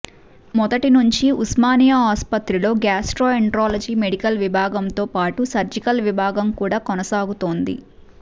మొదటి నుంచీ ఉస్మానియా ఆసుపత్రిలో గ్యాస్ట్రో ఎంట్రాలజీ మెడికల్ విభాగంతో పాటు సర్జికల్ విభాగం కూడా కొనసాగుతోంది